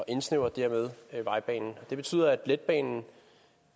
indsnævre vejbanen det betyder at letbanen